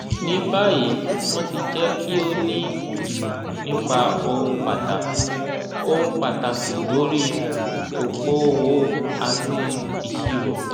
ní báyìí wọ́n ti jẹ́ kí o ní ìmọ̀ nípa ohun pàtàkì ohun pàtàkì lórí okoòwò àti ìṣirò.